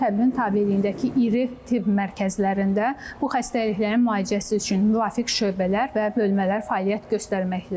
Təbibin tabeliyindəki iri tibb mərkəzlərində bu xəstəliklərin müalicəsi üçün müvafiq şöbələr və bölmələr fəaliyyət göstərməkdədir.